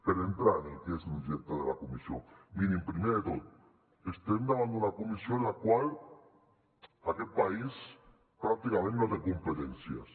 per entrar en el que és l’objecte de la comissió mirin primer de tot estem davant d’una comissió en la qual aquest país pràcticament no té competències